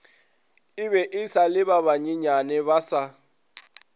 ebe esa le ba banyenyanebasa